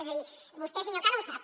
és a dir vostè senyor cano ho sap